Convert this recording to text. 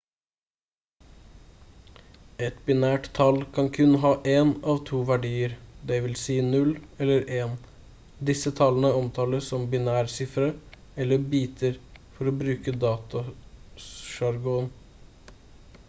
et binært tall kan kun ha én av to verdier dvs 0 eller 1. disse tallene omtales som binærsifre eller biter for å bruke datasjargon